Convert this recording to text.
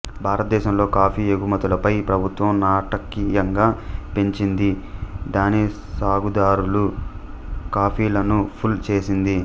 భారతదేశంలో కాఫీ ఎగుమతులపై ప్రభుత్వం నాటకీయంగా పెంచింది దాని సాగుదారుల కాఫీలను పూల్ చేసింది